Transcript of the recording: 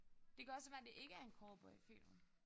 Det kan også være det ikke er en cowboyfilm